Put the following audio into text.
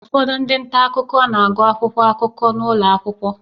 Ụfọdụ ndị nta akụkọ na-agụ akwụkwọ akụkọ n'ụlọ akwụkwọ